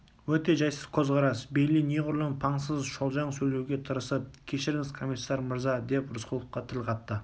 өте жайсыз көзқарас бейли неғұрлым паңсыз шолжаң сөйлеуге тырысып кешіріңіз комиссар мырза деп рысқұловқа тіл қатты